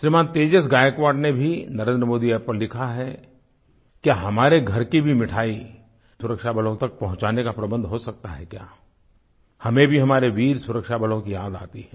श्रीमान् तेजस गायकवाड़ ने भी NarendramodiApp पर लिखा है हमारे घर की भी मिठाई सुरक्षाबलों तक पहुँचाने का प्रबंध हो सकता है क्या हमें भी हमारे वीर सुरक्षाबलों की याद आती है